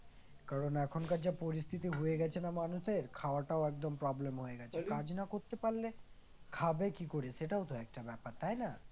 কারণ এখনকার যা পরিস্থিতি হয়ে গেছে না মানুষের খাওয়াটাও একদম problem হয়ে গেছে কাজ না করতে পারলে খাবে কি করে? সেটাও তো একটা ব্যাপার তাই না?